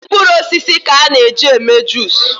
Mkpụrụ osisi ka a na eji eme juice